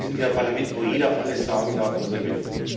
Wir sind hier ein Parlament, wo jeder alles sagen darf, was er will.